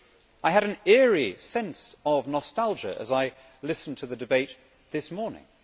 I had an eerie sense of nostalgia as I listened to the debate this morning.